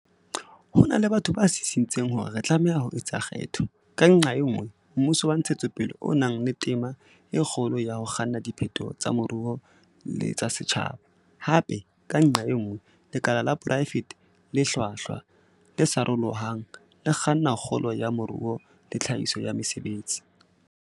Ho na le batho ba sisintseng hore re tlameha ho etsa kgetho, ka nqa e nngwe, mmuso wa ntshetsopele o nang le tema e kgolo ya ho kganna diphetoho tsa moruo le tsa setjhaba, hape, ka nqa e nngwe, lekala la poraefete le hlwahlwa, le sarolohang, le kgannang kgolo ya moruo le tlhahiso ya mesebetsi.